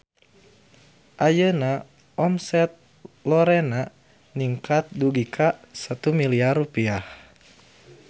Ayeuna omset Lorena ningkat dugi ka 1 miliar rupiah